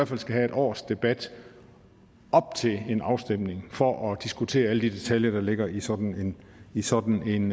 fald skal have et års debat op til en afstemning for at diskutere alle de detaljer der ligger i sådan i sådan